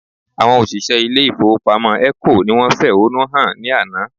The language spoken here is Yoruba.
Àwọn òṣìṣẹ́ ilé ìfowópamọ́ ECO ni wọ́n fẹ̀hónú hàn ní àná